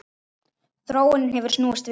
Þróunin hefur snúist við.